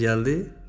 Xoşuna gəldi?